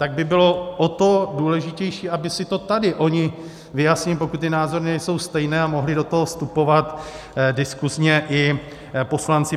Tak by bylo o to důležitější, aby si to tady oni vyjasnili, pokud ty názory nejsou stejné, a mohli do toho vstupovat diskuzně i poslanci.